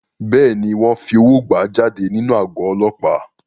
Bẹ́ẹ̀ni, wọ́n fi owó gbà á jáde nínú àgọ́ Ọlọ́pàá.